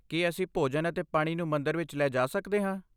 ਕੀ ਅਸੀਂ ਭੋਜਨ ਅਤੇ ਪਾਣੀ ਨੂੰ ਮੰਦਰ ਵਿੱਚ ਲੈ ਜਾ ਸਕਦੇ ਹਾਂ?